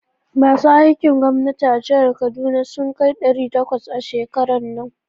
Masu aikin gwamnati a jihar Kaduna sun kai ɗari takwas a shekaran nan.